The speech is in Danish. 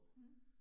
Mhm